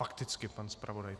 Fakticky pan zpravodaj.